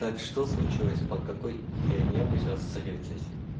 так что случилось по какой херне вы сейчас встретились